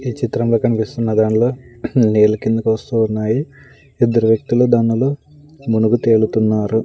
ఈ చిత్రంలో కనిపిస్తున్న దానిలో నీళ్లు కిందికి వస్తూ ఉన్నాయి ఇద్దరు వ్యక్తులు దానిలో మునిగి తేలుతున్నారు.